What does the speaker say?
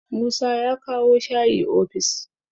Musa ya kawo shayi ofis